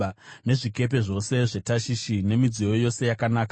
nezvikepe zvose zveTashishi, nemidziyo yose yakanaka.